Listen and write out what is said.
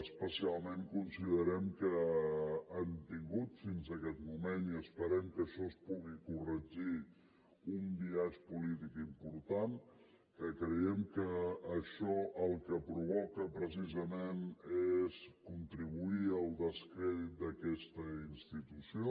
especialment considerem que han tingut fins aquest moment i esperem que això es pugui corregir un biaix polític important que creiem que això el que provoca precisament és contribuir al descrèdit d’aquesta institució